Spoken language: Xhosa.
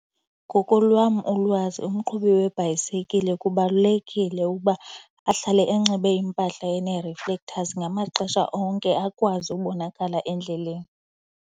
Ngokolwam ulwazi umqhubi webhayisikile kubalulekile ukuba ahlale enxibe iimpahla ene-reflectors ngamaxesha onke akwazi ubonakala endleleni.